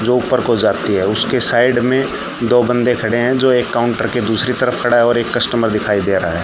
जो ऊपर को जाती है उसके साइड मे दो बन्दे खडे हैं जो एक काउंटर के दूसरी तरफ खड़ा है और एक कस्टमर दिखाई दे रहा है।